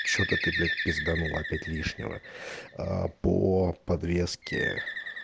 что-то ты блять пизданула опять лишнего аа по подвеске